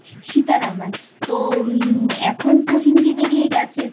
Sitaraman তো এখন তো হিন্দি বেরিয়ে গেছে।